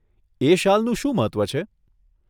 એ શાલનું શું મહત્વ છે?